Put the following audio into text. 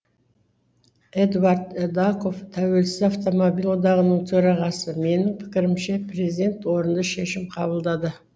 эдуард эдаков тәуелсіз автомобиль одағының төрағасы менің пікірімше президент орынды шешім қабылдады